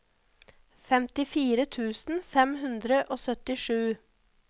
femtifire tusen fem hundre og syttisju